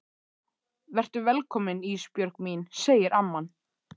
Vertu velkomin Ísbjörg mín, segir amman.